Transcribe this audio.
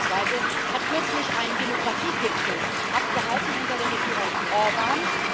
Ungarn beispielsweise hat kürzlich einen Demografiegipfel abgehalten unter der Regierung Orbán.